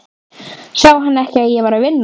Sá hann ekki að ég var að vinna?